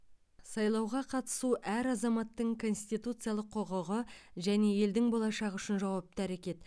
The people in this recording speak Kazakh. сайлауға қатысу әр азаматтың конституциялық құқығы және елдің болашағы үшін жауапты әрекет